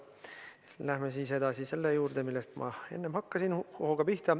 Läheme siis edasi selle juurde, millest ma enne hooga pihta hakkasin.